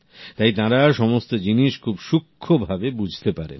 তাই তাঁরা সমস্ত জিনিস খুব সূক্ষ্ম ভাবে বুঝতে পারেন